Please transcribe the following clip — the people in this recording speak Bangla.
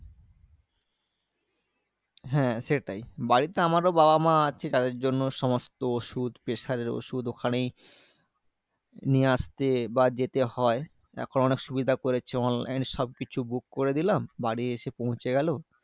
হ্যাঁ সেটাই। বাড়িতে আমারও বাবা মা আছে। তাদের জন্য সমস্ত ওষুধ pressure এর ওষুধ ওখানেই নিয়ে আসতে বা যেতে হয়। এখন অনেক সুবিধা করেছে online সবকিছু book করে দিলাম। বাড়ি এসে পৌঁছে গেলো।